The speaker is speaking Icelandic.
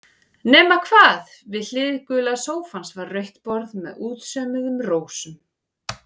Nema hvað, við hlið gula sófans var rautt borð með útsaumuðum rósum.